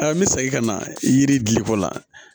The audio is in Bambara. n bɛ segin ka na yiri diliko la